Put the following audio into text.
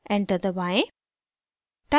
enter दबाएं